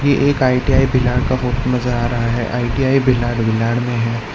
ये एक आई_टी_आई भिलाड़ का फोटो नजर आ रहा है आई_टी_आई भिलाड़ भिलाड़ में है।